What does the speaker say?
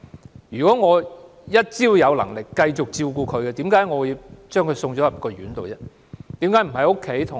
只要我仍有能力繼續照顧她，為何我要把她送入院舍呢？